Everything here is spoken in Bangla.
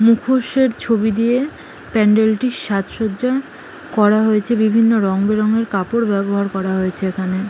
মুখোশের ছবি দিয়ে প্যান্ডেল -টির সাজসজ্জা করা হয়েছে বিভিন্ন রংবেরঙের কাপড় ব্যবহার করা হয়েছে এখানে।